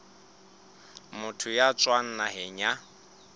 motho ya tswang naheng ya